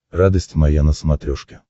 радость моя на смотрешке